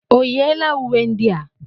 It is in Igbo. O yiela uwe ndị a?